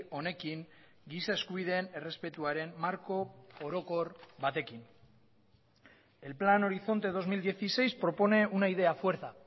honekin giza eskubideen errespetuaren marko orokor batekin el plan horizonte dos mil dieciséis propone una idea fuerza